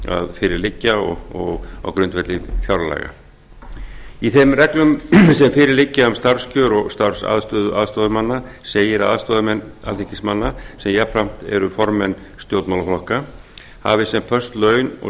fyrir liggja um starfskjör og starfsaðstöðu aðstoðarmanna segir að aðstoðarmenn alþingismanna sem jafnframt eru formenn stjórnmálaflokka hafi sem föst laun og